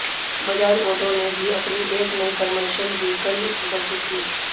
Bajaj Auto ने भी अपनी एक नई कमर्शल वहीकल प्रदर्शित की